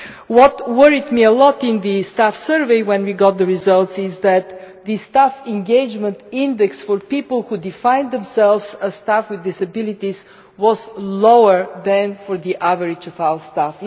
What worried me a lot in the staff survey when we got the results was that the staff engagement index for people who defined themselves as staff with disabilities was lower than the overall average for staff.